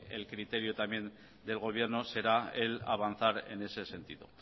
el criterio también del gobierno será el avanzar en ese sentido